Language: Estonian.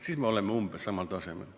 Siis me oleksime umbes samal tasemel.